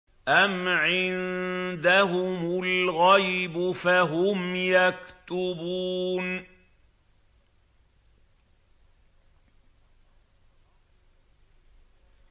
أَمْ عِندَهُمُ الْغَيْبُ فَهُمْ يَكْتُبُونَ